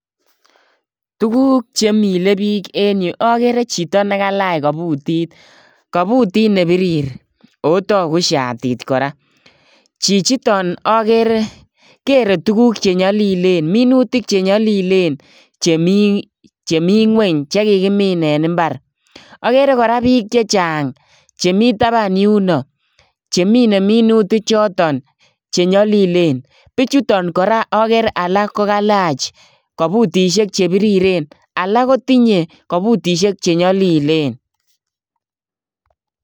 Tuguk chemile bik en Yu ko agere Chito nikalach kabutit kabutit nebirir akotagu shatit koraa chichiton agere tuguk chenyalilen ak minutik chenyalilen chemi ngweny chekakimin en imbar agere kora bik chechang chemi taban yuno chemine minutik choton chenyalilen bichuton kora agere alak kokalach kabutishek chebiriren alak kotinye kabutishek chenyalilen